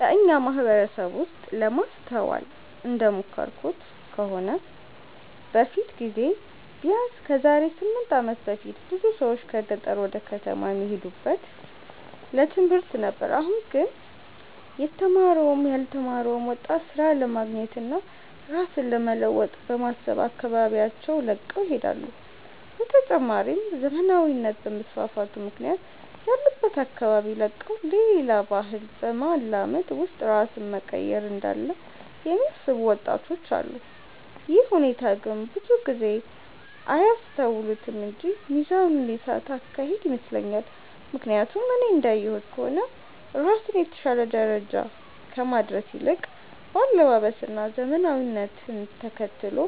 በኛ ማህበረሰብ ውስጥ ለማስተዋል እንደሞከርኩት ከሆነ በፊት ጊዜ ቢያነስ ከዛሬ 8 አመት በፊት ብዙ ሰዎች ከገጠር ወደ ከተማ የሚሄዱት ለትምህርት ነበር አሁን ላይ ግን የተማረውም ያልተማረው ወጣት ስራ ለማግኘት እና ራስን ለመለወጥ በማሰብ አካባቢያቸውን ለቀው ይሄዳሉ። በተጨማሪም ዘመናዊነት በመስፋፋቱ ምክንያት ያሉበትን አካባቢ ለቀው ሌላን ባህል በማላመድ ውስጥ ራስን መቀየር እንዳለ የሚያስቡ ወጣቶች አሉ። ይህ ሁኔታ ግን ብዙ ሰው አያስተውሉትም እንጂ ሚዛኑን የሳተ አካሄድ ይመስለኛል። ምክያቱም እኔ እንዳየሁት ከሆነ ራስን የተሻለ ደረጃ ከማድረስ ይልቅ በአለባበስ እና ዘመናዊነትን ተከትሎ